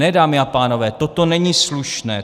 Ne, dámy a pánové, toto není slušné.